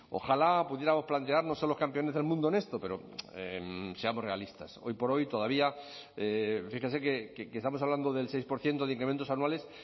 ojalá pudiéramos plantearnos ser los campeones del mundo en esto pero seamos realistas hoy por hoy todavía fíjense que estamos hablando del seis por ciento de incrementos anuales